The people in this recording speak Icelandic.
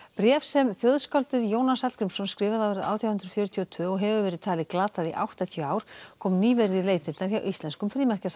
bréf sem þjóðskáldið Jónas Hallgrímsson skrifaði árið átján hundruð fjörutíu og tvö og hefur verið talið glatað í áttatíu ár kom nýverið í leitirnar hjá íslenskum